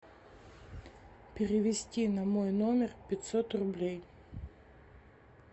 перевести на мой номер пятьсот рублей